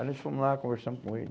Aí nós fomos lá, conversamos com ele.